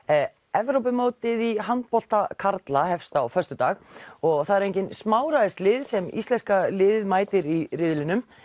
Evrópumótið í handbolta karla hefst á föstudag og það eru engin sem íslenska liðið mætir í riðlinum